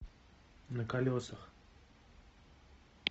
на колесах